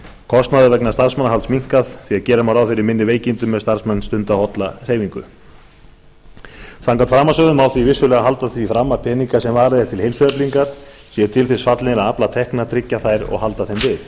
kostnaður vegna starfsmannahalds minnkar því að gera má ráð fyrir minni veikindum ef starfsmenn stunda holla hreyfingu samkvæmt framansögðu má því vissulega halda því fram að peningar sem varið er til heilsueflingar séu til þess fallnir að afla tekna tryggja þær og halda þeim